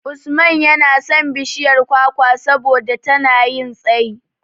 Usman yana son bishiyar kwakwa saboda tana yin tsayi.